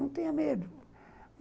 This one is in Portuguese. Não tenha medo.